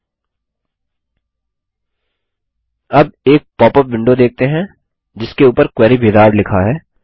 अब हम एक पॉपअप विंडो देखते हैं जिसके उपर क्वेरी विजार्ड लिखा है